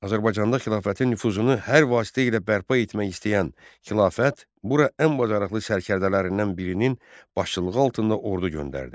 Azərbaycanda xilafətin nüfuzunu hər vasitə ilə bərpa etmək istəyən xilafət bura ən bacarıqlı sərkərdələrindən birinin başçılığı altında ordu göndərdi.